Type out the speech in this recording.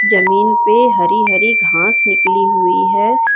जमीन पे हरी हरी घास निकली हुई है।